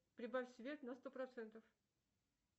прибавь свет на сто процентов